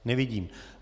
Nevidím.